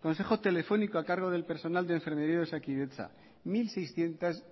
consejo telefónico a cargo del personal de enfermería de osakidetza mil seiscientos